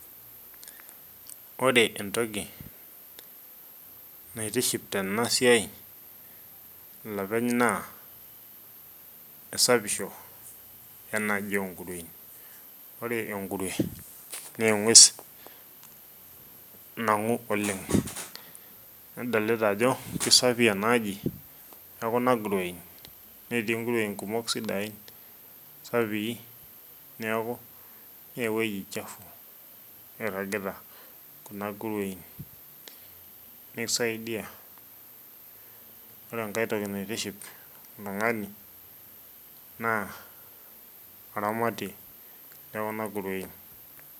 Ore entoki naitiship tena siai olopeny naa esapisho, enaaji oo nguruein, ore engurue naa eng'ues nang'u oleng', nadolita ajo kisapi ena aji ekuna kuruein netii nguruein sidain, sapii neeku me ewuei chafu iragita kuna kuruein, nisaidia. Ore enkae toki naitiship oltung'ani naa oramaitie lekuna kuruein.